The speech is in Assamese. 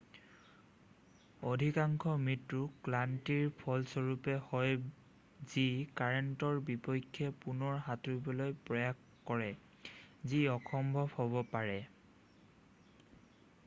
অধিকাংশ মৃত্যু ক্লান্তিৰ ফলস্বৰূপে হয় যি কাৰেন্টৰ বিপক্ষে পুনৰ সাঁতুৰিবলৈ প্ৰয়াস কৰে যি অসম্ভৱ হ'ব পাৰে৷